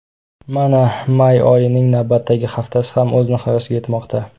Mana may oyining navbatdagi haftasi ham o‘z nihoyasiga yetmoqda.